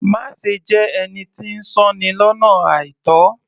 Má ṣe jẹ́ ẹni tí ń sọ́ni lọ́nà àìtó